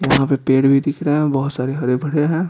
यहां पे पेड़ भी दिख रहा है और बहुत सारे हरे भरे हैं।